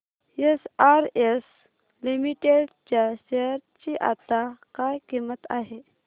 SRS limited च्या share ची आता काय किंमत आहे